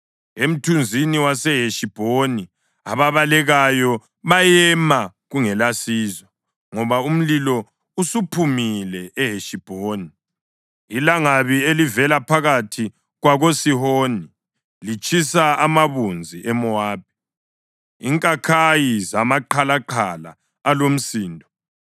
“Emthunzini waseHeshibhoni ababalekayo bayema kungelasizo, ngoba umlilo usuphumile eHeshibhoni, ilangabi elivela phakathi kwakoSihoni; litshisa amabunzi eMowabi inkakhayi zamaqhalaqhala alomsindo.